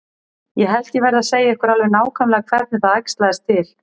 Ég held ég verði að segja ykkur alveg nákvæmlega hvernig það æxlaðist til.